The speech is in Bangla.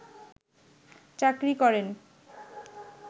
চাকরি করে